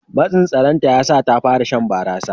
Matsin saranta ya sa ta fara shan barasa.